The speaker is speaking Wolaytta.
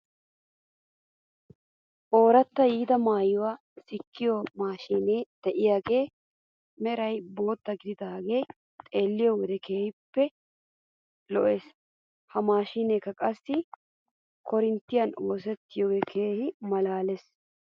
Ooratta yiida maayuwaa sikkiyoo maashiinee de'iyaagee meraa bootya gididaagee xeelliyoo wode keehippe lo'es. He maashiineekka qassi korinttiyan oottiyoogee keehi malaales.